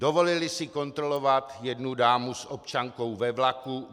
Dovolili si kontrolovat jednu dámu s občankou ve vlaku.